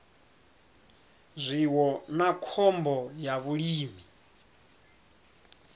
zwiwo na khombo ya vhulimi